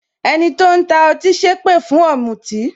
Ẹni tó ń ta ọtí sépè fún ọ̀mùtì